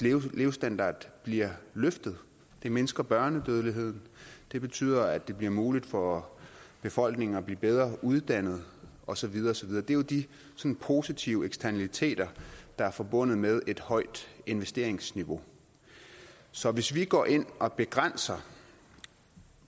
levestandard bliver løftet det mindsker børnedødeligheden det betyder at det bliver muligt for befolkningen at blive bedre uddannet og så videre og så videre det er jo de positive eksternaliteter der er forbundet med et højt investeringsniveau så hvis vi går ind og begrænser